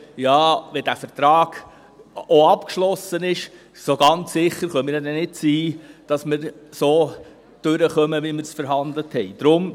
«Auch wenn der Vertrag abgeschlossen ist, können wir nicht ganz sicher sein, dass wir damit so durchkommen, wie wir verhandelt haben.